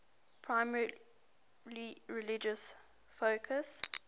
primarily religious focus